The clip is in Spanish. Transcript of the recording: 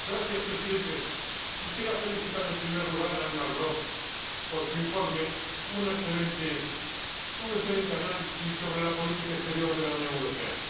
Señor Presidente, quisiera felicitar en primer lugar a Elmar Brok por su informe, un excelente análisis sobre la política exterior de la Unión Europea.